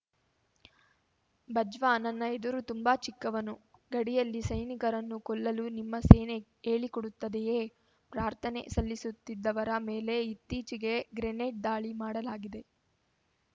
ಬಜ್ವಾ ನನ್ನ ಎದುರು ತುಂಬಾ ಚಿಕ್ಕವನು ಗಡಿಯಲ್ಲಿ ಸೈನಿಕರನ್ನು ಕೊಲ್ಲಲು ನಿಮ್ಮ ಸೇನೆ ಹೇಳಿಕೊಡುತ್ತದೆಯೇ ಪ್ರಾರ್ಥನೆ ಸಲ್ಲಿಸುತ್ತಿದ್ದವರ ಮೇಲೆ ಇತ್ತೀಚೆಗೆ ಗ್ರೆನೇಡ್‌ ದಾಳಿ ಮಾಡಲಾಗಿದೆ